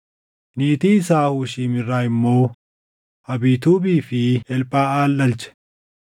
Niitii isaa Hushiim irraa immoo Abiituubii fi Elphaʼal dhalche.